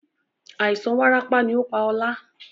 Àìsàn warapa ni ó pá ọ̀la.